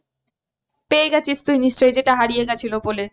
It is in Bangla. পেয়ে গেছিস তুই নিশ্চই যেটা হারিয়ে গিয়েছিলো বলে?